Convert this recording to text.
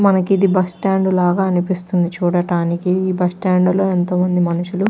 మనకి ఇది bus stand లా అనిపిస్తుంది చూడటానికి ఈ బస్ స్టాండ్ లో ఎంతో మంది మనుషులు --